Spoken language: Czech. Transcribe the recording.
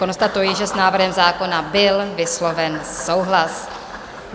Konstatuji, že s návrhem zákona byl vysloven souhlas.